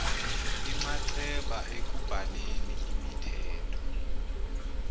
inxaxheba ekubhaleni imithetho